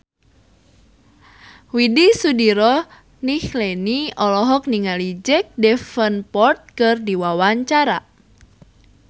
Widy Soediro Nichlany olohok ningali Jack Davenport keur diwawancara